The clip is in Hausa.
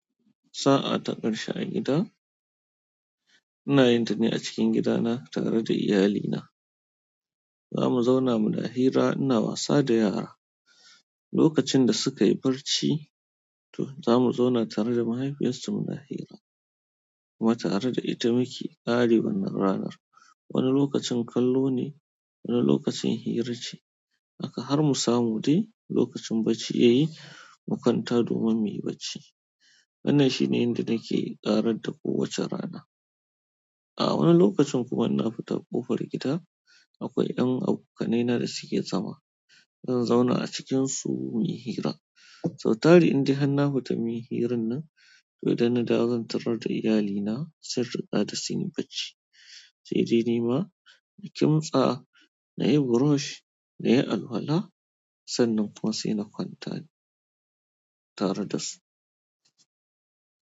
Sa'a ta ƙarshe a gida, ina yin tane a cikin gidana tare da iyalina. Za mu zauna mu na hira, ina wasa da yara. Lokacin da suka yi barci, to za mu zauna tare da mahaifiyarsu mu na hira kuma tare da ita muke ƙari wannan ranar. Wani lokacin kallo ne, wani lokacin hira ce. Haka har mu samu dai lokacin bacci ya yi, mu kwanta domin muyi bacci. Wannan shi ne inda nake ƙarad da kowace rana. A wani lokacin kuma ina fita ƙofar gida akwai ɗan abokaina da muke zama. Zan zauna a cikinsu muyi hira. Sau tali indai hanna futa muyi hirar nan, to dana dawo zan tarar da iyalina, sun riga da sun yi bacci. Sai dai ni ma nakimtsa, na yi burosh, na yi alwala sannan kuma saina kwanta tare da su.